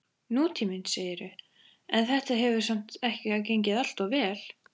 Nútíminn, segirðu, en þetta hefur samt ekki gengið alltof vel?